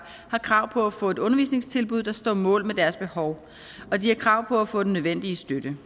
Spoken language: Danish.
har krav på at få et undervisningstilbud der står mål med deres behov og de har krav på at få den nødvendige støtte